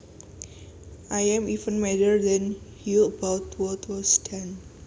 I am even madder than you about what was done